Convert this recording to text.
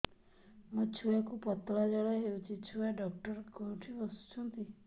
ମୋ ଛୁଆକୁ ପତଳା ଝାଡ଼ା ହେଉଛି ଛୁଆ ଡକ୍ଟର କେଉଁଠି ବସୁଛନ୍ତି